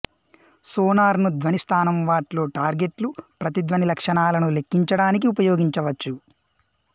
sonar ను ధ్వని స్థానం వాట్ లో టార్గెట్లు ప్రతిధ్వని లక్షణాలను లెక్కించడానికి ఉపయోగించవచ్చు